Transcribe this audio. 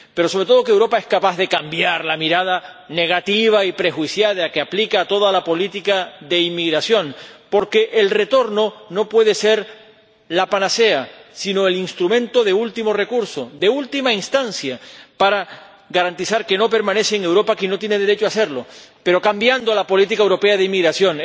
pero, sobre todo, que Europa sea capaz de cambiar la mirada negativa y prejuiciada que aplica a toda la política de inmigración —porque el retorno no puede ser la panacea, sino el instrumento de último recurso, de última instancia, para garantizar que no permanece en Europa quien no tiene derecho a hacerlo—, cambiando la política europea de inmigración.